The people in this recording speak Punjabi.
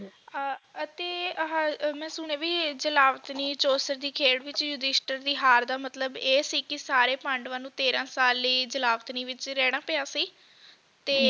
ਅਹ ਅਤੇ ਆਹਾ ਮੈਂ ਸੁਣਿਆ ਵੀ ਇਹ ਜਲਾਬਤਨੀ ਚੌਸਰ ਦੀ ਖੇਡ ਵਿਚ ਯੁਧਿਸ਼ਟਰ ਦੀ ਹਾਰ ਦਾ ਮਤਲਬ ਇਹ ਸੀ ਕਿ ਸਾਰੇ ਪਾਂਡਵਾਂ ਨੂੰ ਤੇਰਾਂ ਸਾਲ ਲਈ ਜਲਾਬਤਨੀ ਵਿੱਚ ਰਹਿਣਾ ਪਿਆ ਸੀ ਤੇ